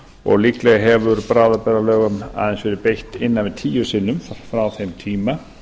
og líklega hefur bráðabirgðalögum aðeins verið beitt innan við tíu sinnum frá þeim tíma